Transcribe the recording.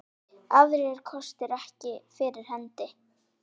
Aðrir kostir ekki fyrir hendi.